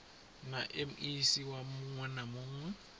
na mec muwe na muwe